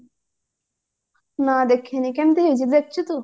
ନା ଦେଖିନି କେମତି ହେଇଛି ଦେଖିଛୁ ତୁ